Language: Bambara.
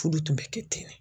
Fudu kun bɛ kɛ ten de.